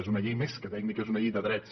és una llei més que tècnica és una llei de drets